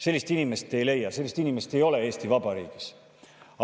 Sellist inimest ei leia, sellist inimest ei ole Eesti Vabariigis.